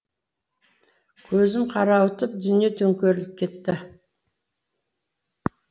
көзім қарауытып дүние төңкеріліп кетті